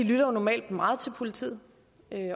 lytter jo normalt meget til politiet